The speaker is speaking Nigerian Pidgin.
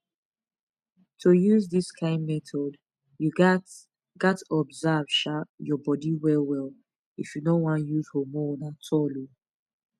to use this kind method you gats gats observe um your body well well if you no wan use hormone at all um